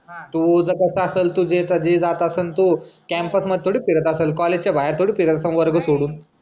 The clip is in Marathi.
तुझा कसं असेल तू जे जात असल तू कॅम्पस मध्ये थोडी फिरत असलं कॉलेजच्या बाहेर थोडी फिरत असेल सर्व वर्ग सोडून